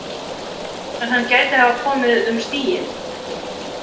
En hann gæti hafa komið um stíginn?